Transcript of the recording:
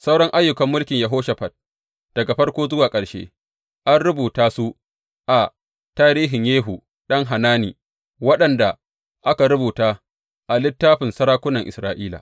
Sauran ayyukan mulkin Yehoshafat, daga farko zuwa ƙarshe, an rubuta su a tarihin Yehu ɗan Hanani, waɗanda aka rubuta a littafin sarakunan Isra’ila.